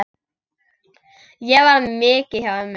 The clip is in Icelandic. Ég var mikið hjá ömmu.